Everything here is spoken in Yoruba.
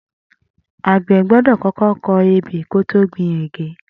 Agbẹ̀ gbọdọ kọkọ kọ ébé kó tó gbin ẹ̀gè